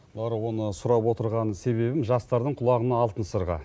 лаура оны сұрап отырған себебім жастардың құлағына алтын сырға